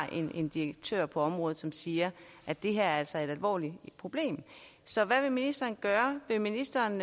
en direktør på området som siger at det her altså er et alvorligt problem så hvad vil ministeren gøre vil ministeren